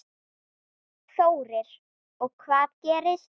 Þórir: Og hvað gerist?